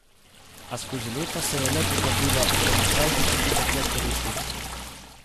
A skozi leta se je le potrdilo, da mu krajši počitek le koristi.